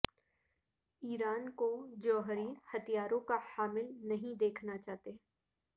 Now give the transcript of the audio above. ایران کو جوہری ہتھیاروں کا حامل نہیں دیکھنا چاہتے